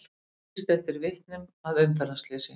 Lýst eftir vitnum að umferðarslysi